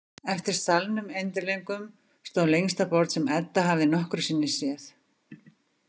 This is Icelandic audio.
Eftir salnum endilöngum stóð lengsta borð sem Edda hafði nokkru sinni séð.